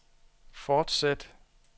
fortsæt